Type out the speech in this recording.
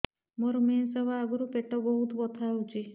ମୋର ମେନ୍ସେସ ହବା ଆଗରୁ ପେଟ ବହୁତ ବଥା ହଉଚି